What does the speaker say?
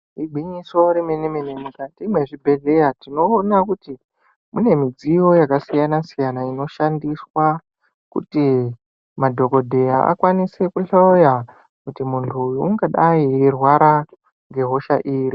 Igwinyiso remene-mene mukati mwezvibhedhlera tinoona kuti mune midziyo yakasiyana-siyana, inoshandiswa kuti madhogodheya akanise kuhloya kuti muntu uyu ungadai eirwara ngehosha iri.